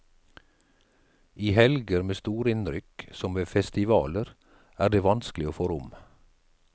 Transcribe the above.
I helger med storinnrykk, som ved festivaler, er det vanskelig å få rom.